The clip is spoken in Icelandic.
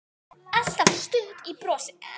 Alltaf stutt í brosið.